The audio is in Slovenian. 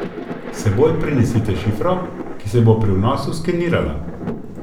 S seboj prinesite šifro, ki se bo pri vnosu skenirala.